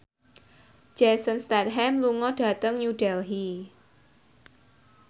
Jason Statham lunga dhateng New Delhi